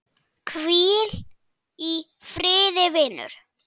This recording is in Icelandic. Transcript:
Hvíl í friði, vinur.